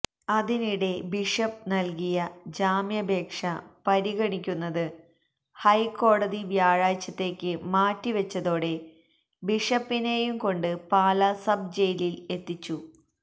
അതിനിടെ ബിഷപ്പ് നല്കിയ ജാമ്യാപേക്ഷ പരിഗണിക്കുന്നത് ഹൈക്കോടതി വ്യാഴാഴ്ച്ചത്തേക്ക് മാറ്റിവെച്ചതോടെ ബിഷപ്പിനെയും കൊണ്ട് പാല സബ് ജയിലില് എത്തിച്ചു